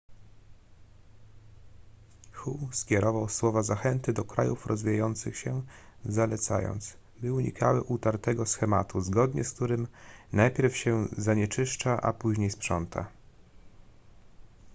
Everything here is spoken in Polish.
hu skierował słowa zachęty do krajów rozwijających się zalecając by unikały utartego schematu zgodnie z którym najpierw się zanieczyszcza a później sprząta